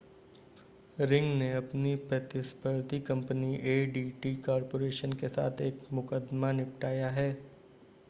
ring ने अपनी प्रतिस्पर्धी कंपनी adt कॉर्पोरेशन के साथ एक मुकदमा निपटाया है